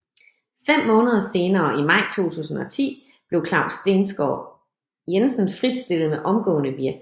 Fem måneder senere i maj 2010 blev Claus Stensgaard Jensen fritstillet med omgående virkning